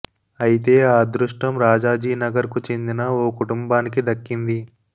అయితే ఆ అదృష్టం రాజాజీనగర్ కు చెందిన ఓకుటుంబానికి దక్కింది